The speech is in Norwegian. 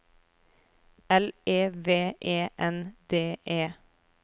L E V E N D E